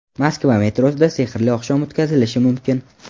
Moskva metrosida sehrli oqshom o‘tkazilishi mumkin.